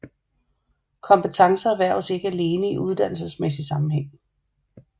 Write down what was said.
Kompetencer erhverves ikke alene i uddannelsesmæssig sammenhæng